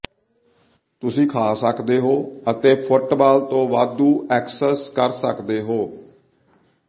ਤੁਸੀਂ ਖਾ ਸਕਦੇ ਹੋ ਅਤੇ ਫੁਟਬਾਲ ਤੋਂ ਵਾਧੂ ਐਕਸੈਸ ਕਰ ਸਕਦੇ ਹੋ